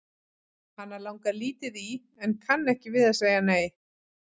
Hana langar lítið í en kann ekki við að segja nei.